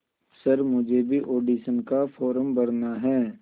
sir मुझे भी audition का फॉर्म भरना है